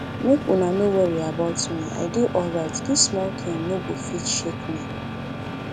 make una no worry about me i dey alright dis small thing no go fit shake me